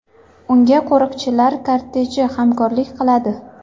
Unga qo‘riqchilar korteji hamkorlik qiladi.